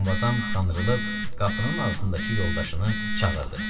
Muqamvazam qandırlıb qapının ağzındakı yoldaşını çağırdı.